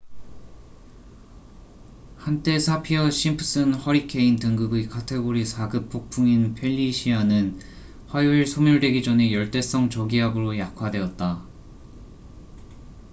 한때 사피어 심프슨 허리케인 등급의 카테고리 4급 폭풍인 펠리시아는 화요일 소멸되기 전에 열대성 저기압으로 약화되었다